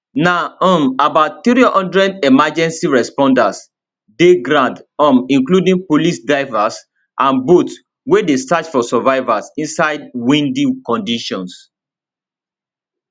na um about 300 emergency responders dey ground um including police divers and boats wey dey search for survivors inside windy condition